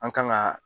An kan ka